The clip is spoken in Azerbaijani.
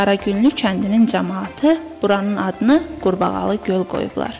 Qaragüllü kəndinin camaatı buranın adını Qurbağalı Göl qoyublar.